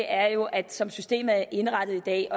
er jo at som systemet er indrettet i dag